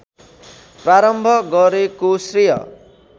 प्रारम्भ गरेको श्रेय